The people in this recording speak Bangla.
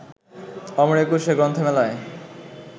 অমর একুশে গ্রন্থমেলায়